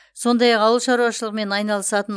сондай ақ ауыл шаруашылығымен айналысатын